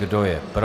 Kdo je pro?